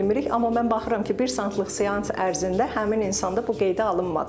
Amma mən baxıram ki, bir saatlıq seans ərzində həmin insanda bu qeydə alınmadı.